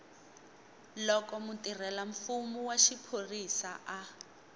loko mutirhelamfumo wa xiphorisa a